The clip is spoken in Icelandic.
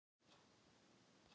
"""Já, ég fékk það."""